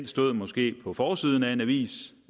stod måske på forsiden af en avis